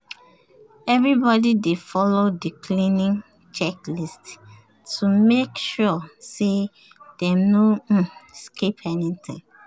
everybody dey follow the cleaning checklist to make sure say dem no um skip anyting